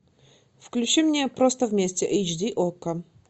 включи мне просто вместе эйч ди окко